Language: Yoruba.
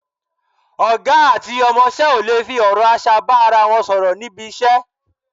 Ọ̀gá àti ọmọṣẹ́ ò lè fi ọ̀rọ̀ aṣa bá ara wọn sọ̀rọ̀ níbi iṣẹ́,